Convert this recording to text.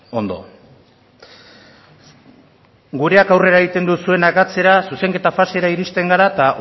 ondo gureak aurrera egiten duzuenak atzera zuzenketa fasera iristen gara eta